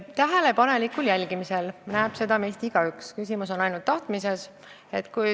Tähelepanelikul jälgimisel näeb seda meist igaüks, küsimus on ainult tahtmises.